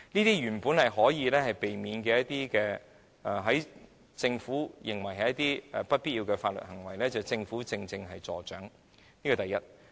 這些原先可以避免的事情、政府認為不必要的法律行為，正正是由政府助長的，此其一。